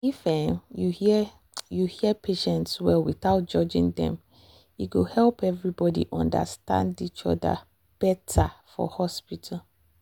if um you hear you hear patient well without judging dem e go help everybody understand each other um better for hospital.